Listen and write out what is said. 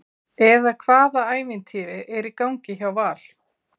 eða hvaða ævintýri er í gangi hjá Val?